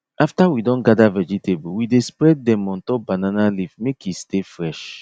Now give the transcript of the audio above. after we don gather vegetable we dey spread dem on top banana leaf make e stay fresh